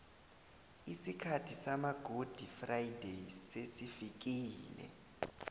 isikhathi sama gudi frayideyi sesifikile